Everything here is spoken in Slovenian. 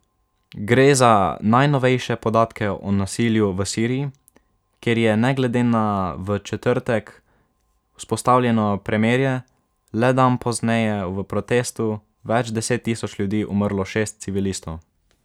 Gre za najnovejše podatke o nasilju v Siriji, kjer je ne glede na v četrtek vzpostavljeno premirje le dan pozneje v protestu več deset tisoč ljudi umrlo šest civilistov.